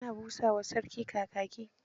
Ana busa wa sarki Kakaki.